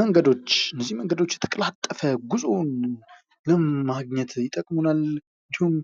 መንገዶች እዚህ መንገዶች የተቀላጠፈ ጉዞ ለማግኘት ይጠቅሙናል። እንዲሁም